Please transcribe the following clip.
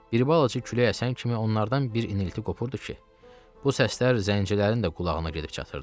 Bir balaca külək əsən kimi onlardan bir inilti qopurdu ki, bu səslər zəncilərin də qulağına gedib çatırdı.